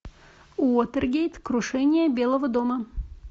уотергейт крушение белого дома